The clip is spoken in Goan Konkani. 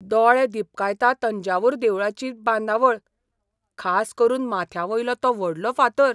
दोळे दिपकायता तंजावूर देवळाची बांदावळ, खास करून माथ्यावयलो तो व्हडलो फातर.